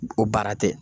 O baara tɛ